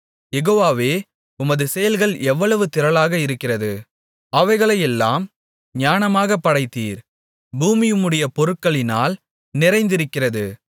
யெகோவாவே உமது செயல்கள் எவ்வளவு திரளாக இருக்கிறது அவைகளையெல்லாம் ஞானமாகப் படைத்தீர் பூமி உம்முடைய பொருட்களினால் நிறைந்திருக்கிறது